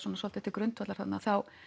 svolítið til grundvallar þarna